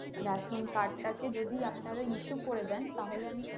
ration card টা কে যদি আপনারা issue করে দেন তাহলে আমি,